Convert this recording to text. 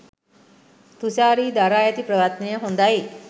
තුශාරි දරා ඇති ප්‍රයත්නය හොදයි.